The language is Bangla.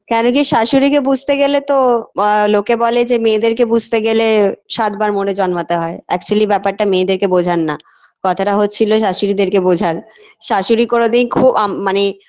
কেন কি শাশুড়িকে বুঝতে গেলে তো আ লোকে বলে যে মেয়েদেরকে বুঝতে গেলে সাতবার মরে জন্মাতে হয় actually ব্যাপারটা মেয়েদের বোঝার না কথাটা হচ্ছিল শাশুড়িদেরকে বোঝার শাশুড়ি কোনোদিন খু আ মানে